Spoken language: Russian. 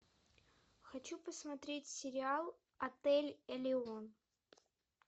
хочу посмотреть сериал отель элеон